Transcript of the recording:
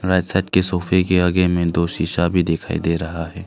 Right side के सोफे के आगे में दो शीशा भी दिखाई दे रहा है।